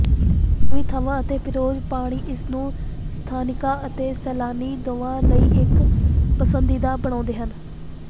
ਸੁਵਿਧਾਵਾਂ ਅਤੇ ਪੀਰਰੋਜ਼ ਪਾਣੀ ਇਸ ਨੂੰ ਸਥਾਨਿਕਾਂ ਅਤੇ ਸੈਲਾਨੀ ਦੋਵਾਂ ਲਈ ਇੱਕ ਪਸੰਦੀਦਾ ਬਣਾਉਂਦੇ ਹਨ